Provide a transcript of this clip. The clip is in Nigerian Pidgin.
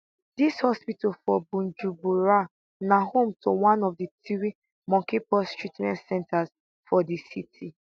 dis hospital for bujumbura na home to one of three mpox treatment centres for di city